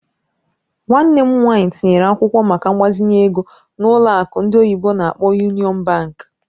Nwanne m nwanyị tinyere akwụkwọ maka mgbazinye ego na ụlọ akụ ndị oyibo n'akpọ "Union Bank".